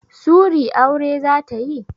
Sury aure zata yi?